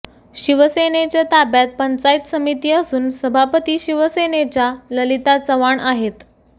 शिवसेनेच्या ताब्यात पंचायत समिती असून सभापती शिवसेनेच्या ललिता चव्हाण आहेत